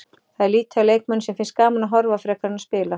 Það er lítið af leikmönnum sem finnst gaman að horfa frekar en að spila.